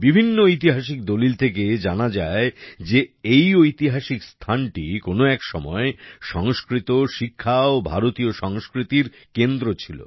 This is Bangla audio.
বিভিন্ন ঐতিহাসিক দলিল থেকে এইটা জানা যায় যে এই ঐতিহাসিক স্থানটি কোন এক সময় সংস্কৃত শিক্ষা ও ভারতীয় সংস্কৃতির কেন্দ্র ছিল